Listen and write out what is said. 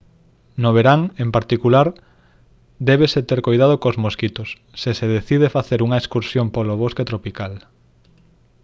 no verán en particular débese ter coidado cos mosquitos se se decide facer unha excursión polo bosque tropical